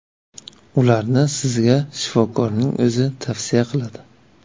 Ularni sizga shifokorning o‘zi tavsiya qiladi.